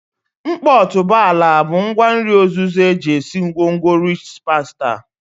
Nkpo otuboala bụ ngwa nri ozuzo eji esi ngwongwo rịch pastà